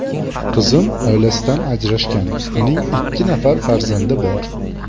Qizim oilasidan ajrashgan, uning ikki nafar farzandi bor.